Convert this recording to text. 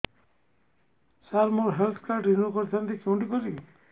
ସାର ମୋର health card renew କରିଥାନ୍ତି କେଉଁଠି କରିବି